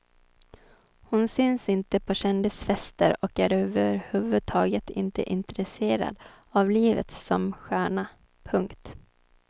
Hon syns inte på kändisfester och är överhuvudtaget inte intresserad av livet som stjärna. punkt